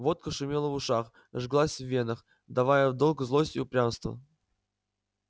водка шумела в ушах жглась в венах давала в долг злость и упрямство